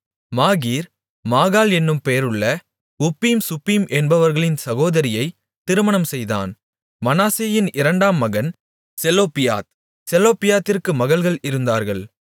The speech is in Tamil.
மாகீர் மாகாள் என்னும் பெயருள்ள உப்பீம் சுப்பீம் என்பவர்களின் சகோதரியைத் திருமணம் செய்தான் மனாசேயின் இரண்டாம் மகன் செலோப்பியாத் செலொப்பியாத்திற்கு மகள்கள் இருந்தார்கள்